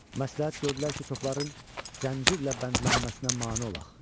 Məsləhət gördülər ki, topların zəncirlə bəndlənməsinə mane olaq.